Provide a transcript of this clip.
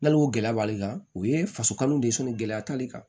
N'ala y'o gɛlɛya b'ale kan o ye faso kanu de ye gɛlɛya t'ale kan